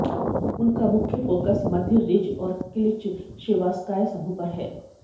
उनका मुख्य फोकस मध्य रिज और क्लिचशेवास्काय समूह पर है